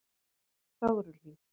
Fögruhlíð